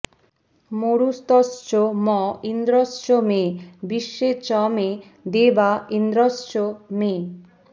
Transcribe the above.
মরুতশ্চ ম ইন্দ্রশ্চ মে বিশ্বে চ মে দেবা ইন্দ্রশ্চ মে